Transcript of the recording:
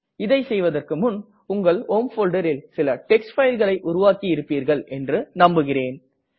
இதை செய்வதற்கு முன் உங்கள் ஹோம் folderல் சில டெக்ஸ்ட் fileகளை உருவாக்கி இருப்பீர்கள் என்று நம்புகிறேன்